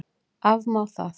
Afmá það?